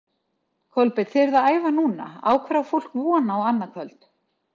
Kolbeinn, þið eruð að æfa núna, á hverju á fólk von á annað kvöld?